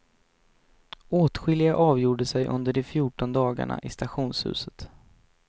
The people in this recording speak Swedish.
Åtskilliga avgjorde sig under de fjorton dagarna i stationshuset.